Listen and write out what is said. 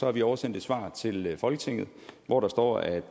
har vi oversendt et svar til folketinget hvor der står at